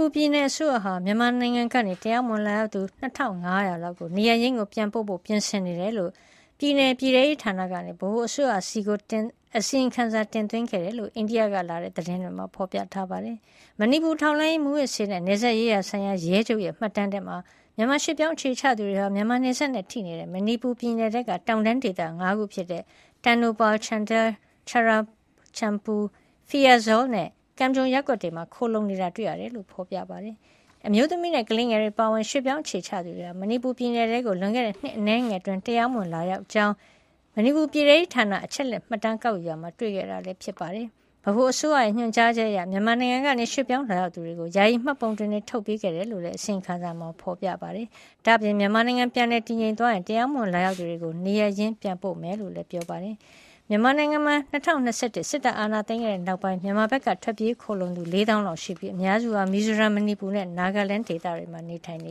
ူပြည်နယ်အစိုးရဟာ မြန်မာနိုင်ငံကနေ တရားမဝင်လာရောက်သူ ၂,၅၀၀ လောက်ကို နေရပ်ရင်း ပြန်ပို့ဖို့ ပြင်နေတယ်လို့ ပြည်နယ်ပြည်ထဲရေးဌာနက ဗဟိုအစိုရဆီထံ အစီရင်ခံစာတင်သွင်းခဲ့ကြောင်း အိန္ဒိယကလာတဲ့ သတင်းတွေမှာ ဖေါ်ပြထားပါတယ်။ မဏိပူ ထောက်လှမ်းရေး၊ မူးယစ်ဆေးနဲ့ နယ်စပ်ရေးဆိုင်ရာ ရဲချုပ်ရဲ့မှတ်တမ်းထဲမှာ မြန်မာရွှေ့ပြောင်းအခြေချသူတွေဟာ မြန်မာနယ်စပ်နဲ့ထိနေတဲ့ မဏိပူပြည်နယ်ထဲက တောင်တန်းဒေသ ၅ ခုဖြစ်တဲ့ တန်နိုပါလ်၊ ချန်ဒဲလ်၊ ချူရာချန်ပူ၊ ဖီရာဇော်လ်နဲ့ ကမ်ဂျုံ ရပ်ကွက်တွေမှာ ခိုလှုံနေတာတွေ့ရတယ်လို့ ဖေါ်ပြထားပါတယ်။ ဒီအမျိုးသမီးနဲ့ကလေးငယ်တွေအပါအဝင် ရွှေ့ပြောင်းအခြေချသူတွေဟာ မဏိပူပြည်နယ်ထဲကို လွန်ခဲ့တဲ့နှစ်အနည်းငယ်အတွင်း တရားမဝင်လာရောက်ကြောင်း မဏိပူပြည်ထဲရေးဌာနက အချက်လက်မှတ်တမ်း ကောက်ယူရာမှာတွေ့ခဲ့တာပါ။ ဗဟိုအစိုးရရဲ့ ညွှန်ကြားချက်အရ မြန်မာနိုင်ငံကနေ ရွှေ့ပြောင်းလာရောက်သူတွေကို ယာယီမှတ်ပုံတင်တွေထုတ်ပေးခဲ့တယ်လို့လည်း အစီရင်ခံစာမှာ ဖေါ်ပြပါတယ်။ ဒါ့အပြင် မြန်မာနိုင်ငံ ပြန်လည်တည်ငြိမ်သွားရင် တရားမဝင်လာရောက် သူတွေကို နေရပ်ရင်း ပြန်ပို့မှာ ဖြစ်ကြောင်းလည်းပြောပါတယ်။ မြန်မာနိုင်ငံမှာ ၂၀၂၁ စစ်တပ်အာဏာသိမ်းခဲ့တဲ့ နောက်ပိုင်း မြန်မာဘက်ကနေ ထွက်ပြေးခိုလှုံလာသူဟာ ၄၀,၀၀၀ လောက်ရှိပြီး အများစုဟာ မီဇိုရမ်၊ မဏိပူနဲ့ နာဂလန်း ဒေသတွေမှာ နေထိုင်န